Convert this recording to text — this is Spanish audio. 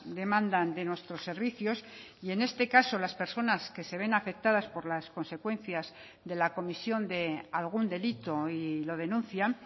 demandan de nuestros servicios y en este caso las personas que se ven afectadas por las consecuencias de la comisión de algún delito y lo denuncian